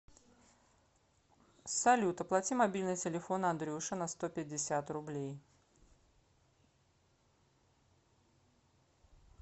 салют оплати мобильный телефон андрюше на сто пятьдесят рублей